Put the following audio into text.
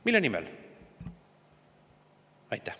Mille nimel?